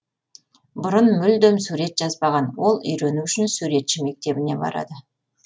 бұрын мүлдем сурет жазбаған ол үйрену үшін суретші мектебіне барады